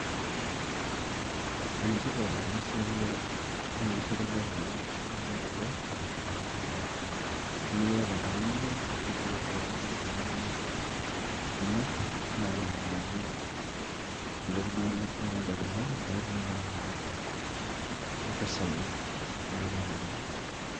ene tipat ena siai oo nkishu ekule amu itumie kule, naa nidim aitumia tenkang' ino ,nintoki sii atumie kuna nimir naaji amiraki, iltunganak le kule, naaji oota, impisai neeku ene tipat.